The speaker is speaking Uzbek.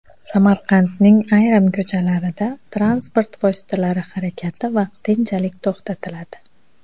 Samarqandning ayrim ko‘chalarida transport vositalari harakati vaqtinchalik to‘xtatiladi.